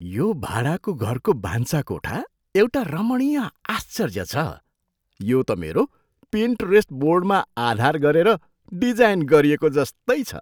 यो भाडाको घरको भान्साकोठा एउटा रमणीय आश्चर्य छ, यो त मेरो पिन्टरेस्ट बोर्डमा आधार गरेर डिजाइन गरिएको जस्तै छ!